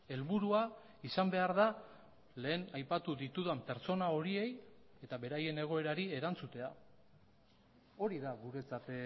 helburua izan behar da lehen aipatu ditudan pertsona horiei eta beraien egoerari erantzutea hori da guretzat